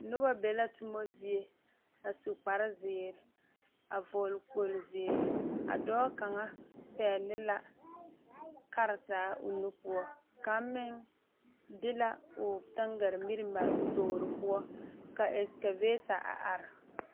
Noba be la tuma zie a su kpare ziiri a vɔgle kpol ziiri kaŋa pegle la karetara o nu poɔ kaŋ meŋ de la o tangaare mire a eŋ o tore poɔ ka ɛkavaata a are.